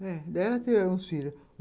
Eh, ela teve os filhos.